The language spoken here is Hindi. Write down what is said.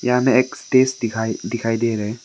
यहां मे एक स्टेज दिखाई दिखाई दे रहे हैं।